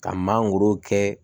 Ka mangoro kɛ